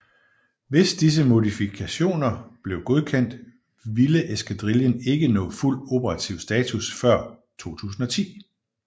Hvis disse modifikationer blev godkendt ville eskadrillen ikke nå fuld operativ status før 2010